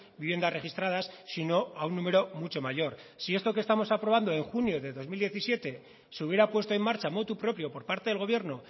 viviendas registradas sino a un número mucho mayor si esto que estamos aprobando en junio de dos mil diecisiete se hubiera puesto en marcha motu propio por parte del gobierno